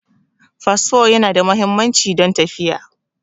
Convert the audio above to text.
Fasfo Yana da muhimmanci don tafiya